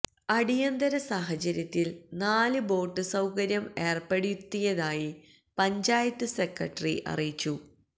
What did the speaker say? അടിയന്തര സാഹചര്യത്തില് നാല് ബോട്ട് സൌകര്യം ഏര്പ്പെടുത്തിയതായി പഞ്ചായത്ത് സെക്രട്ടറി അറിയിച്ചു